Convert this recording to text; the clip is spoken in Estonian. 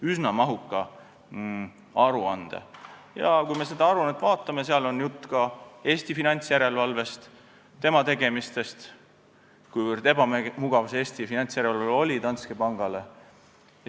Kui me seda aruannet vaatame, siis näeme, et seal on jutt ka Eesti finantsjärelevalvest ja tema tegemistest, sellest, kui ebamugav oli Eesti finantsjärelevalve Danske pangale.